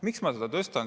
Miks ma tõstan?